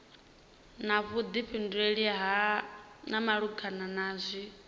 na vhuḓifhinduleli malugana na izwi